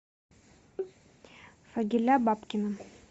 фагиля бабкина